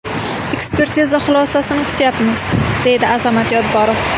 Ekspertiza xulosasini kutayapmiz, deydi Azamat Yodgorov.